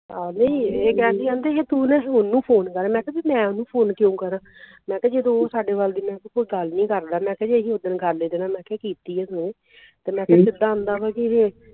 ਆਹੋ ਨਹੀਂ ਇਹ ਕਹਿਣ ਢਈ ਵੀ ਤੂੰ ਨਾ ਸੋਨੂ ਨੂੰ ਫੋਨ ਕਰ ਮੈਂ ਕਿਹਾ ਵੀ ਮੈਂ ਓਹਨੂੰ ਫੋਨ ਕਿਉਂ ਕਰਾਂ ਮੈਂ ਕਿਹਾ ਜਦੋਂ ਤੂੰ ਸਾਡੇ ਵੱਲ ਦੀ ਮੈਂ ਕਿਹਾ ਉਹ ਗੱਲ ਨਹੀਂ ਕਰਦਾ ਮੈਂ ਕਿਹਾ ਜੇ ਅਸੀਂ ਓਦਣ ਗੱਲ ਇਹਦੇ ਨਾਲ ਮੈਂ ਕਿਹਾ ਕੀਤੀ ਇਹਨੇ ਤੇ ਮੈਂ ਕਿਹਾ ਕਿੱਦਾਂ ਆਂਦਾ ਵੀ ਕਿ ਇਹੇ